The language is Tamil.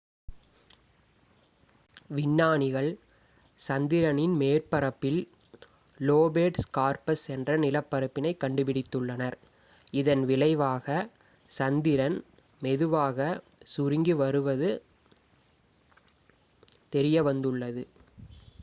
விஞ்ஞானிகள் சந்திரனின் மேற்பரப்பில் லோபேட் ஸ்கார்ப்ஸ் என்ற நிலப்பரப்பினை கண்டுபிடித்துள்ளனர் இதன் விளைவாக சந்திரன் மெதுவாக சுருங்கி வருவது தெரியவந்துள்ளது